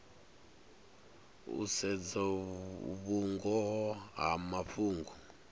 u sedza vhungoho ha mafhungo